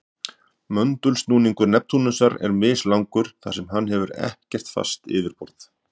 Möndulsnúningur Neptúnusar er mislangur þar sem hann hefur ekkert fast yfirborð.